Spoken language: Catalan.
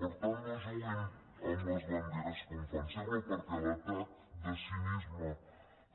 per tant no juguin amb les banderes com fan sempre perquè l’atac de cinisme